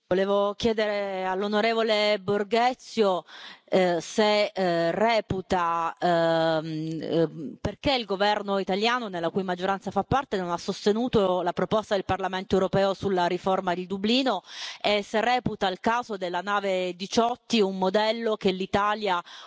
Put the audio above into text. Volevo chiedere all'onorevole Borghezio perché il governo italiano, della cui maggioranza fa parte, non ha sostenuto la proposta del Parlamento europeo sulla riforma di Dublino, e se reputa il caso della nave Diciotti un modello che l'Italia